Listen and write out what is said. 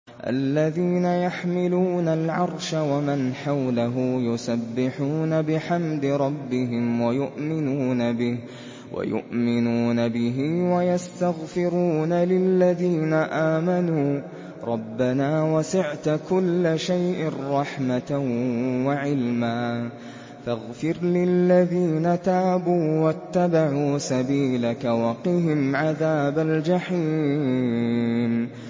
الَّذِينَ يَحْمِلُونَ الْعَرْشَ وَمَنْ حَوْلَهُ يُسَبِّحُونَ بِحَمْدِ رَبِّهِمْ وَيُؤْمِنُونَ بِهِ وَيَسْتَغْفِرُونَ لِلَّذِينَ آمَنُوا رَبَّنَا وَسِعْتَ كُلَّ شَيْءٍ رَّحْمَةً وَعِلْمًا فَاغْفِرْ لِلَّذِينَ تَابُوا وَاتَّبَعُوا سَبِيلَكَ وَقِهِمْ عَذَابَ الْجَحِيمِ